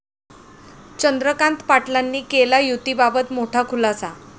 चंद्रकांत पाटलांनी केला 'युती'बाबत मोठा खुलासा